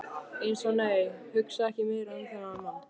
Eins og- nei, hugsa ekki meira um þann mann!